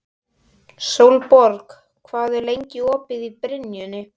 Sólborg, hvað er lengi opið í Brynju?